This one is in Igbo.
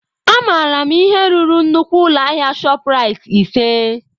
Amaara m ihe ruru nnukwu ụlọ ahịa ShopRite ise.